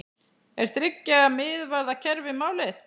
Er þriggja miðvarða kerfi málið?